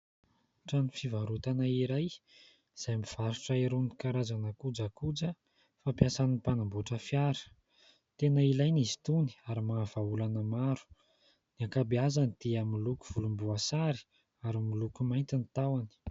Trano fivarotana iray, izay mivarotra irony karazana kojakoja fampiasan'ny mpanamboatra fiara. Tena ilaina izy tony, ary mahavaha olana maro ; ny ankabeazany dia miloko volomboasary ary miloko mainty ny tahony.